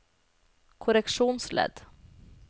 korreksjonsledd